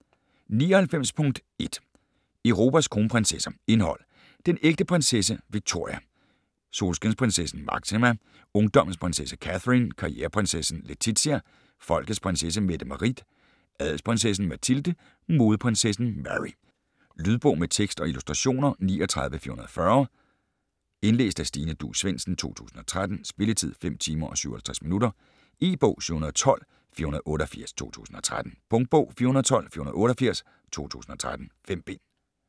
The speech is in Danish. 99.1 Europas kronprinsesser Indhold: Den ægte prinsesse Victoria ; Solskinsprinsessen Máxima ; Ungdommens prinsesse Catherine ; Karriereprinsessen Letizia ; Folkets prinsesse Mette-Marit ; Adelsprinsessen Mathilde ; Modeprinsessen Mary. Lydbog med tekst og illustrationer 39440 Indlæst af Stine Duus Svendsen, 2013. Spilletid: 5 timer, 57 minutter. E-bog 712488 2013. Punktbog 412488 2013. 5 bind.